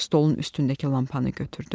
Stolun üstündəki lampanı götürdü.